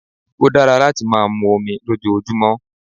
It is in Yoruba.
Ó dára láti máa mu omi lójoojúmọ́